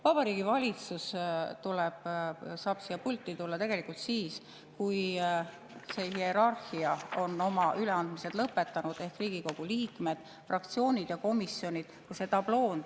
Vabariigi Valitsus saab siia pulti tulla tegelikult siis, kui see hierarhiast – Riigikogu liikmed, fraktsioonid ja komisjonid – on oma üleandmised lõpetanud.